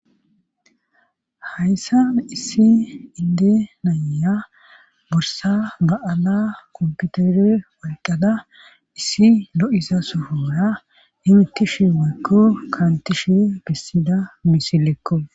Hayssa issi inde naya borsa ba'ala komputere walqada issi lo'iza sufora himittishi weekko kaantishi gessida misilekko